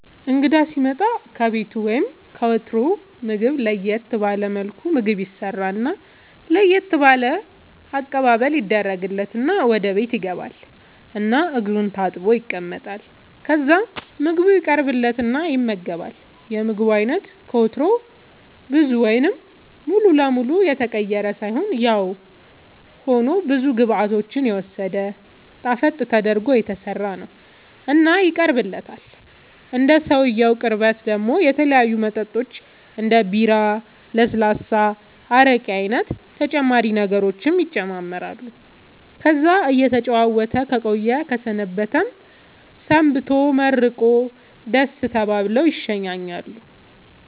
እንግዳ ሢመጣ ከቤቱ ወይም ከወትሮው ምግብ ለየት ባለ መልኩ ምግብ ይሰራና ለየት ባለ አቀባበል ይደረግለትና ወደ ቤት ይገባል እና እግሩን ታጥቦ ይቀመጣል ከዛ ምግቡ ይቀርብለትና ይመገባል የምግቡ አይነት ከወትሮው ብዙ ወይም ሙሉ ለመሉ የተቀየረ ሳይሆንያው ሆኖ ብዙ ግብዓቶችን የወሰደ ጣፈጥ ተደርጎ የተሠራ ነው እና ይቀርብለታል እንደ ሰውየው ቅርበት ደሞ የተለያዩ መጠጦች እንደ ቡራ ለስላሳ አረቄ አይነት ተጨማሪ ነገሮችም ይጨማመራሉ ከዛ እየተጨዋወተ ከቆየ ከሰነበተም ሰንብቶ መርቆ ደሥ ተባብለው ይሸኛኛሉ